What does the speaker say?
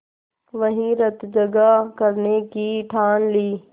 वहीं रतजगा करने की ठान ली